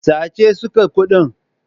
Sace suka kuɗin.